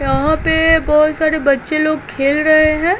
यहा पे बहुत सारे बच्चे लोग खेल रहे हैं।